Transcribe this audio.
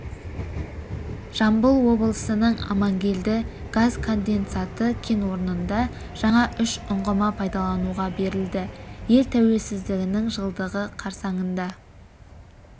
жамбыл облысының амангелді газ конденсаты кен орнында жаңа үш ұңғыма пайдалануға берілді ел тәуелсіздігінің жылдығы қарсаңында